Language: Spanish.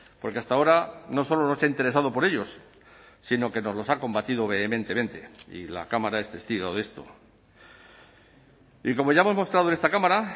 porque hasta ahora no solo no se ha interesado por ellos sino que nos los ha combatido vehementemente y la cámara es testigo de esto y como ya hemos mostrado en esta cámara